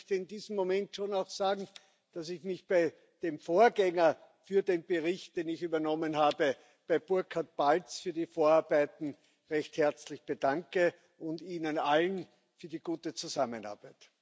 Und ich möchte in diesem Moment schon auch sagen, dass ich mich bei dem Vorgänger für den Bericht, den ich übernommen habe, bei Burkhard Balz, für die Vorarbeiten recht herzlich bedanke und Ihnen allen für die gute Zusammenarbeit danke.